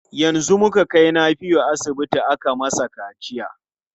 Yanzu muka kai Nafiu asibiti aka masa kaciya.